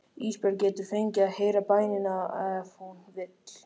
Ísbjörg getur fengið að heyra bænina ef hún vill.